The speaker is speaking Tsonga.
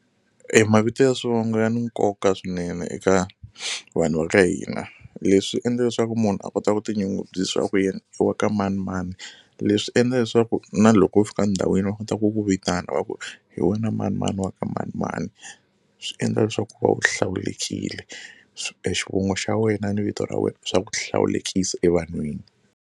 Mavito ya swivongo ya ni nkoka swinene eka vanhu va ka hina leswi endla leswaku munhu a kota ku tinyungubyisa ku yean i wa ka mani na mani leswi endla leswaku na loko u fika ndhawini va kota ku ku vitana wa ku hi wena manimani wa ka manimani swi endla leswaku va u hlawulekile e xivongo xa wena ni vito ra wena swa ku hlawulekisa evanhwini.